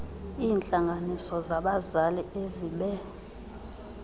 iintlanganiso zabazali ezibe